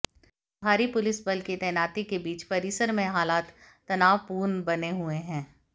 भारी पुलिस बल की तैनाती के बीच परिसर में हालात तनावपूर्ण बने हुए हैं